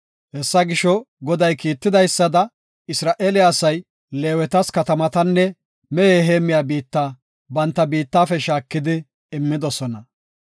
Hessa gisho, Goday kiitidaysada, Isra7eele asay Leewetas katamatanne mehe heemmiya biitta banta biittafe shaakidi, immidosona.